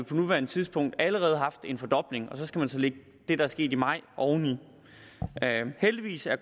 på nuværende tidspunkt allerede haft en fordobling så skal man lægge det der er sket i maj oveni heldigvis er